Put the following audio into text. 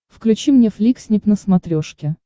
включи мне фликснип на смотрешке